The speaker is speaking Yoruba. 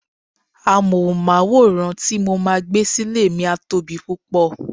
Amohunmaworan ti mo máa gbé sile mi a tóbi púpò.